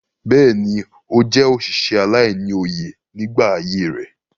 Bẹ́ẹ̀ni, ó jẹ́ òsìsẹ̀ aláìní-oyè nígbà ayé rẹ̀.